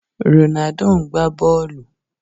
Ronaldo ń gbá bọ́ọ̀lù.